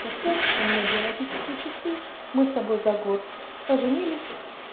костян у меня биологические часы мы с тобой за год поженились